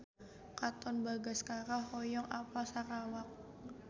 Katon Bagaskara hoyong apal Sarawak